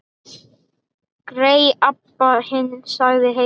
Grey Abba hin, sagði Heiða.